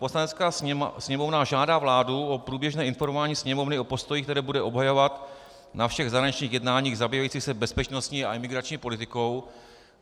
Poslanecká sněmovna žádá vládu o průběžné informování Sněmovny o postoji, který bude obhajovat na všech zahraničních jednáních zabývajících se bezpečnostní a imigrační politikou.